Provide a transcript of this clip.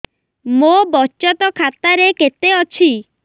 ମୋ ବଚତ ଖାତା ରେ କେତେ ଅଛି